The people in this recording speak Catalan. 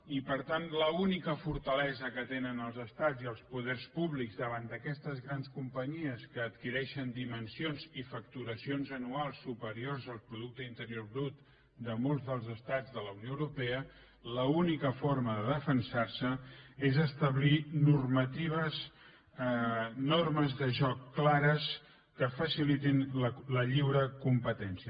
i per tant l’única fortalesa que tenen els estats i els poders públics davant d’aquestes grans companyies que adquireixen dimensions i facturacions anuals superiors al producte interior brut de molts dels estats de la unió europea l’única forma de defensar se és establir normatives normes de joc clares que facilitin la lliure competència